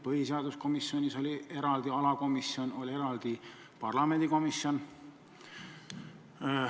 Põhiseaduskomisjonis oli eraldi alakomisjon, oli eraldi parlamendikomisjon.